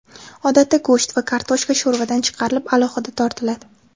Odatda go‘sht va kartoshka sho‘rvadan chiqarilib, alohida tortiladi.